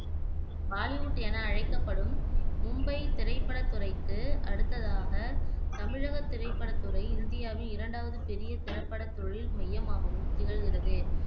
பாலிவுட் என அழைக்கப்படும் மும்பை திரைப்படத் துறைக்கு அடுத்ததாக, தமிழகத் திரைப்படத்துறை இந்தியாவின் இரண்டாவது பெரிய திரைப்படத் தொழில் மையமாகவும் திகழ்கிறது.